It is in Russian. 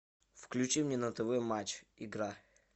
включи мне на тв матч игра